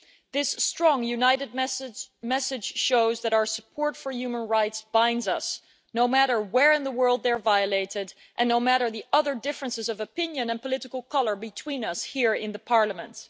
This strong, united message shows that our support for human rights binds us, no matter where in the world those rights are violated and no matter the other differences of opinion and political colour between us here in the Parliament.